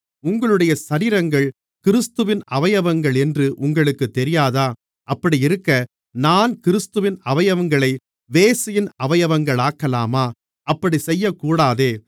உங்களுடைய சரீரங்கள் கிறிஸ்துவின் அவயவங்களென்று உங்களுக்குத் தெரியாதா அப்படியிருக்க நான் கிறிஸ்துவின் அவயவங்களை வேசியின் அவயவங்களாக்கலாமா அப்படிச் செய்யக்கூடாதே